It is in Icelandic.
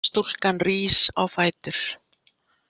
Stúlkan rís á fætur.